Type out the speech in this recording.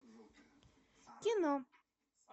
кино